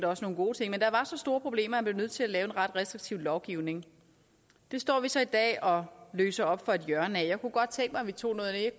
også nogle gode ting men der var så store problemer at man blev nødt til at lave en ret restriktiv lovgivning det står vi så i dag og løser op for et hjørne af jeg kunne godt tænke mig at vi tog